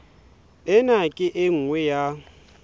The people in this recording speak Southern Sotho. ena ke e nngwe ya